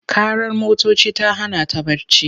Ƙarar motoci ta hana ta barci.